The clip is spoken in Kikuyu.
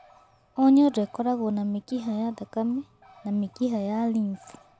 O nyondo ĩkoragũo na mĩkiha ya thakame na mĩkiha ya lymph.